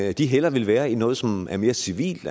at de hellere vil være i noget som er mere civilt